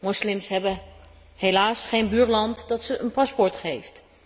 Moslims hebben helaas geen buurland dat ze een paspoort geeft.